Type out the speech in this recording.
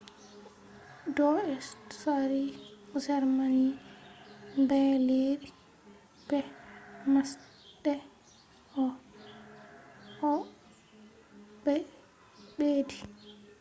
do tsari germany ɓaleeri be masɗe õ/õ”ɓe ɓeddi